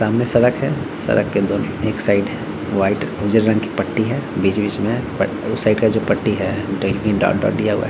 सामने सड़क है सड़क के दोनो एक साइड वाइट उजले रंग की पट्टी है बीच-बीच में पट उस साइड का जो पट्टी है डॉट - डॉट दिया हुआ है।